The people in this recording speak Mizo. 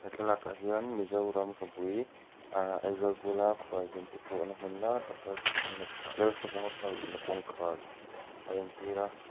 thlalak ah hian mizoram khawpui ahh aizawl bula khualzin te tlawhna hmun lar tak lalsavuna ah lalsavunga park luhna kawngkhar a entir a.